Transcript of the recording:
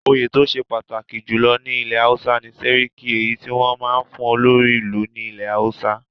Òye tó ṣe pàtàkì jùlọ ní ilẹ̀ Hausa ni Séríkí èyí tí wọn máa ń fún olórí ìlú ilẹ̀ Hausa.